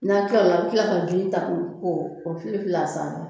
N'a tilal'o la a' bɛ ta k'o filoi fili a sanfɛ